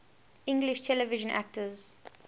english television actors